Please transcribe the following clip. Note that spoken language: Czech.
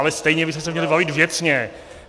Ale stejně bychom se měli bavit věcně.